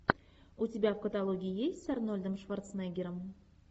у тебя в каталоге есть с арнольдом шварценеггером